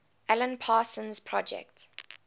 alan parsons project